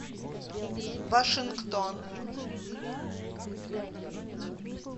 вашингтон